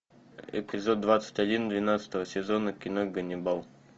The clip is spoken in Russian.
эпизод двадцать один двенадцатого сезона кино ганнибал